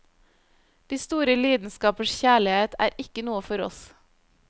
De store lidenskapers kjærlighet er ikke noe for oss.